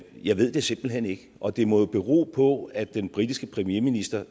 jeg ved det simpelt hen ikke og det må jo bero på at den britiske premierminister